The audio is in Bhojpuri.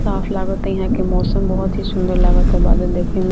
साफ़ लागता हियां के मौसम बहुत ही सुंदर लागता बादल देखे में --